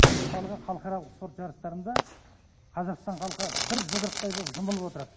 мысалға халықаралық спорт жарыстарында қазақстан халқы бір жұдырықтай боп жұмылып отырады